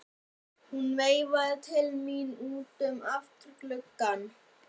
Hún veifaði til mín út um afturgluggann.